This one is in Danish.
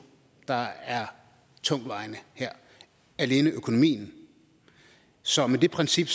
der er tungtvejende her alene økonomien så med det princip